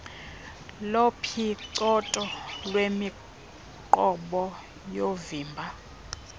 lophicotho lwemiqobo yoovimba